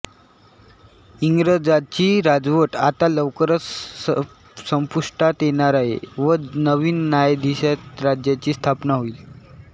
इंग्रजांची राजवट आता लवकरच संपुष्टात येणार आहे व नवीन न्यायाधीष्ठीत राज्याची स्थापना होइल